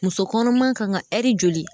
Muso kɔnɔma kan ka joli